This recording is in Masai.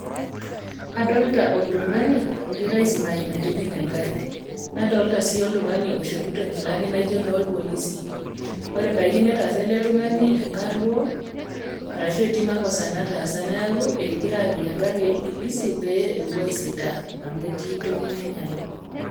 Adolita oltung'ani, ogirai aisimaki metijing'a engari. Nadolita sii oltung'ani oishopito inkilani naijo inoolpolosi, ore ebaiki neyaasa ele tung'ani enkaruo, arashu etii emakosa nataasa, neaku egira apik engari olpulisi pee ewuoi aisitaa amu etii entoki nainyala.